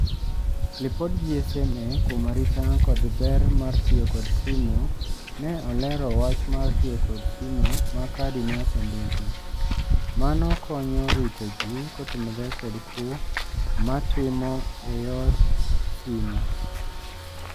Lipod GSMA kuom arita kod ber mar tio kod simo ne olero wach mar tio kod simo ma kadi ne osendiki. Mano konyo rito jii kotenore kod kwo matimo e yor simo.